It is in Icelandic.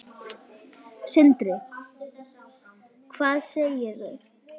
Sindri: Hvað segirðu?